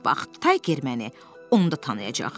Bax Tayger məni onda tanıyacaq.